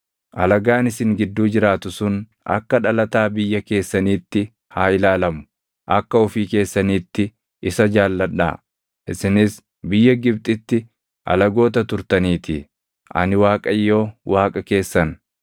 Alagaan isin gidduu jiraatu sun akka dhalataa biyya keessaniitti haa ilaalamu. Akka ofii keessaniitti isa jaalladhaa; isinis biyya Gibxitti alagoota turtaniitii. Ani Waaqayyo Waaqa keessan.